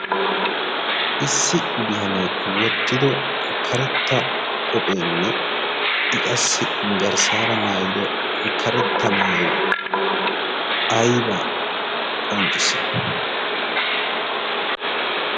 issi bitanee wottido karetta qopheenne i qassi garsaara maayido karetta maayoy aybaa qonccisii?